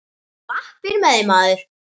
Á lappir með þig, maður!